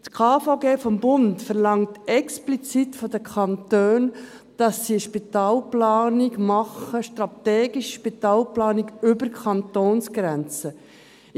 Das Bundesgesetz über die Krankenversicherung (KVG) verlangt von den Kantonen explizit, dass sie eine strategische Spitalplanung über die Kantonsgrenzen hinaus machen.